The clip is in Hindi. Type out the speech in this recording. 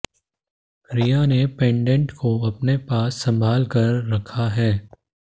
रिया ने पेंडेट को अपने पास संभाल कर रखा है